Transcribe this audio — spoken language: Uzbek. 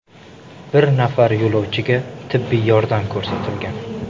Bir nafar yo‘lovchiga tibbiy yordam ko‘rsatilgan.